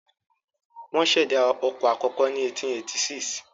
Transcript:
Wọ́n ṣẹ̀dá ọkọ̀ àkọ́kọ́ ní 1886.